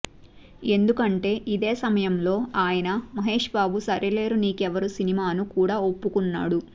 ఎందుకంటే ఇదే సమయంలో ఆయన మహేష్ బాబు సరిలేరు నీకెవ్వరు సినిమాను కూడా ఒప్పుకున్నాడు